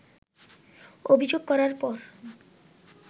অভিযোগ করার পর